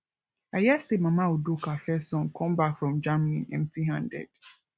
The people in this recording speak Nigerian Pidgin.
i hear say mama udoka first son come back from germany empty handed